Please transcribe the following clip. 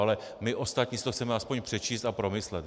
Ale my ostatní si to chceme aspoň přečíst a promyslet.